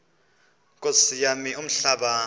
nkosi yam umhlaba